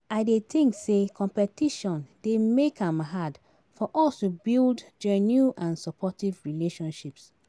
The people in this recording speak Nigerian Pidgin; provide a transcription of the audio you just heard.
I dey think say competition dey make am hard for us to build genuine and supportive relationships.